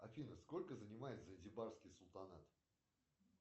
афина сколько занимает занзибарский султанат